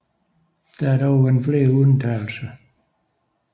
Der har dog været flere undtagelser